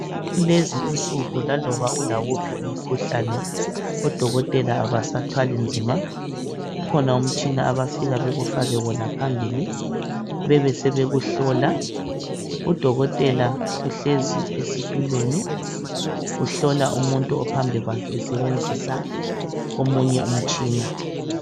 Kulezinsuku laloba ulawuphi umkhuhlane odokotela abasathwali nzima. Kukhona umtshina abafika bekufake wona phambili bebe sebekuhlola. Udokotela uhlezi esitulweni uhlola umuntu ophambi kwakhe esebenzisa omunye umtshina.